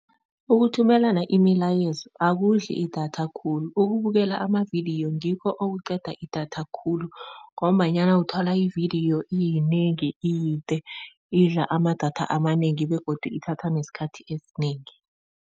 Ukuthumelana imilayezo akudli idatha khulu ukubukela amavidiyo ngikho okuqeda idatha khulu, ngombanyana uthola ividiyo iyinengi iyide idla amadatha amanengi begodu ithatha nesikhathi esinengi.